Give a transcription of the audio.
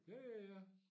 Ja ja ja